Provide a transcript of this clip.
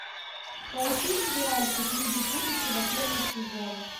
поищи сериальчик люди будущего первый сезон